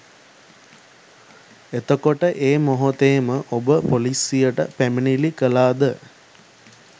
එතකොට ඒ මොහොතේම ඔබ පොලිසියට පැමිණිලි කළාද?